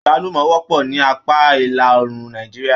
Agbalumọ wọpọ ní apá ìlàòrùn Nàìjíríà.